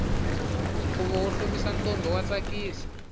khuvo wo hlomisa ntombi wa tsakisa